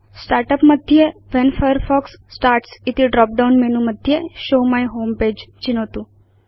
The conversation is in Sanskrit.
स्टार्ट् उप् मध्ये व्हेन फायरफॉक्स स्टार्ट्स् इति ड्रॉप डाउन मेनु मध्ये शोव माई होमे पगे चिनोतु